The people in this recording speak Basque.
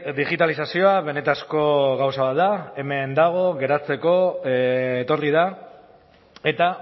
digitalizazioa benetako gauza bat da hemen dago geratzeko etorri da eta